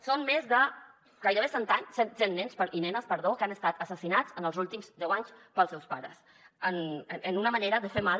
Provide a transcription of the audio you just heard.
són més de gairebé cent nens i nenes que han estat assassinats en els últims deu anys pels seus pares en una manera de fer mal